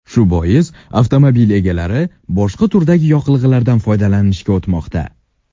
Shu bois avtomobil egalari boshqa turdagi yoqilg‘idan foydalanishga o‘tmoqda.